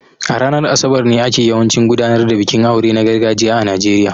A ranar Asabar ne ake yawancin gudanar da bikin aure na gargajiya a Najeriya